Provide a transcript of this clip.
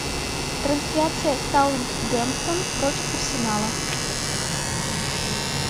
трансляция саутгемптон против арсенала